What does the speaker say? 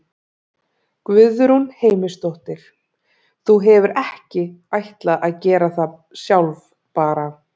Guðrún Heimisdóttir: Þú hefur ekki ætlað að gera það sjálf bara?